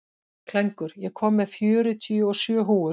Klængur, ég kom með fjörutíu og sjö húfur!